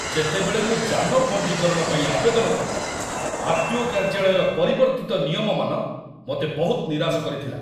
ଯେତେବେଳେ ମୁଁ ଯାନ ପଞ୍ଜୀକରଣ ପାଇଁ ଆବେଦନ କଲି, ଆର୍.ଟି.ଓ. କାର୍ଯ୍ୟାଳୟର ପରିବର୍ତ୍ତିତ ନିୟମମାନ ମୋତେ ବହୁତ ନିରାଶ କରିଥିଲା।